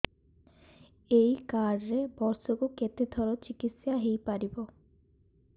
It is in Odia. ଏଇ କାର୍ଡ ରେ ବର୍ଷକୁ କେତେ ଥର ଚିକିତ୍ସା ହେଇପାରିବ